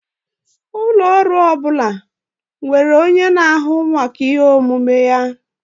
Ụlọ ọrụ ọ bụla nwere onye na-ahụ maka ihe omume ya.